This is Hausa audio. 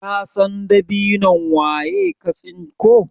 kasan dabinon waye ka tsinko?